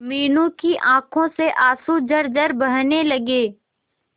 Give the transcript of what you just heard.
मीनू की आंखों से आंसू झरझर बहने लगे